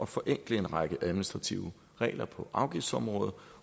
forenkle en række administrative regler på afgiftsområdet